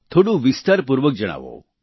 થોડું વિસ્તારપૂર્વક જણાવો